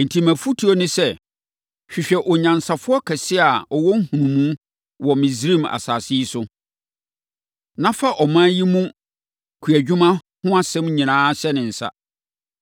“Enti, mʼafotuo ne sɛ, hwehwɛ onyansafoɔ kɛseɛ a ɔwɔ nhunumu wɔ Misraim asase yi so, na fa ɔman yi mu kuadwuma ho asɛm nyinaa hyɛ ne nsa.